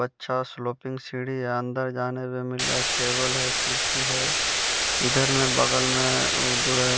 बच्चा स्लोपिंग सीढ़ी है अन्दर जाने पे मिला टेबल है कुर्सी है इधर में बगल में उ जो है --